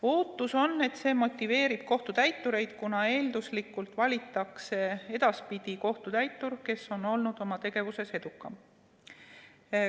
Ootus on, et see motiveerib kohtutäitureid, kuna eelduslikult valitakse edaspidi kohtutäitur, kes on olnud oma tegevuses edukam.